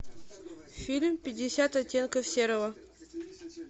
фильм пятьдесят оттенков серого